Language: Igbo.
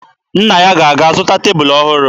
Nna ya ga-aga zụta tebulu ọhụrụ